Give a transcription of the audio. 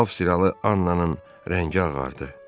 Avstriyalı Annanın rəngi ağardı.